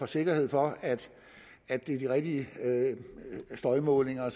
sikkerhed for at det er de rigtige støjmålinger